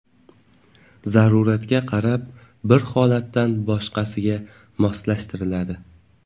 Zaruratga qarab, bir holatdan boshqasiga moslashtiriladi.